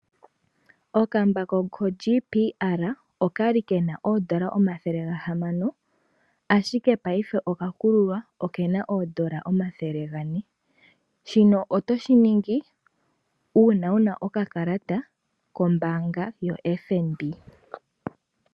Okambako koJBL okali kena oodola omathele gahamano ashike ngashingeyi oka kululwa okena oodola omathele gane. Shino otoshi ningi uuna wuna okakalata kombaanga yotango yopashigwana.